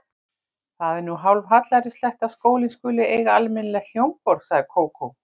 Það er nú hálfhallærislegt að skólinn skuli ekki eiga almennilegt hljómborð sagði Kókó.